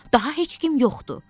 Daha heç kim yoxdu.